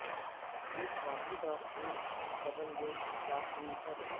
ایک واحد اور ایک ڈبل بیڈ کے ساتھ میٹر